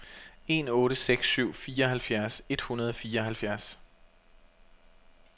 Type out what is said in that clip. en otte seks syv fireoghalvfjerds et hundrede og fireoghalvfjerds